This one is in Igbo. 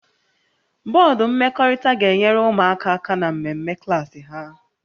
Bọdụ mmekọrịta ga-enyere ụmụaka aka na mmemme klaasị ha